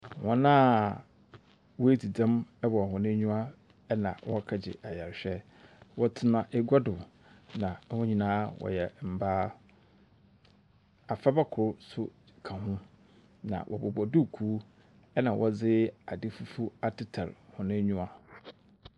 Hɔn a woedzi dzɛm wɔ hɔn enyiwa na wɔrekɛgye ayarhwɛ. Wɔtsena egua do, na hɔn nyina wɔyɛ mbaa. Abofraba kor so ka ho na wɔbobɔ duukuu na wɔdze adze fufuw atetar hɔn enyiwa.